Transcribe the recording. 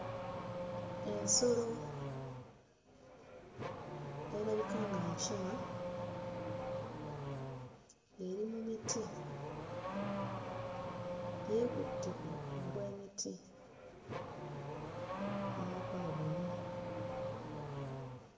Ensolo erabika nga nkima eri mu miti. Yeekutte ku bu bw'emiti n'omukono gumu.